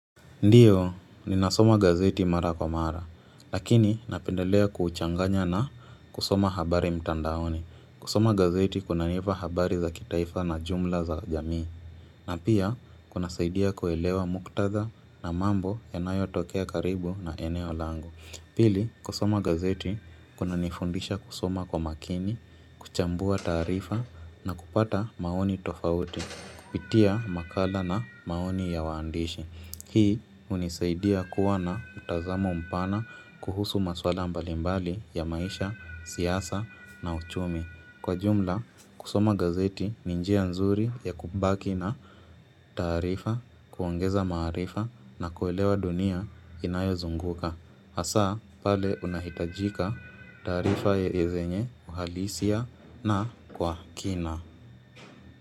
Ndiyo, ninasoma gazeti mara kwa mara, lakini napendelea kuchanganya na kusoma habari mtandaoni. Kusoma gazeti kunanipa habari za kitaifa na jumla za jamii, na pia kunasaidia kuelewa muktadha na mambo yanayotokea karibu na eneo langu. Pili, kusoma gazeti kunanifundisha kusoma kwa makini, kuchambua taarifa na kupata maoni tofauti, kupitia makala na maoni ya waandishi. Hii hunisaidia kuwa na mtazamo mpana kuhusu maswala mbalimbali ya maisha, siasa na uchumi. Kwa jumla, kusoma gazeti ni njia nzuri ya kubaki na taarifa kuongeza maarifa na kuelewa dunia inayo zunguka. Hasa pale unahitajika taarifa ya zenye uhalisia na kwa kina.